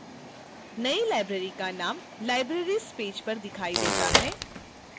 नई library का name libraries page पर दिखाई देता है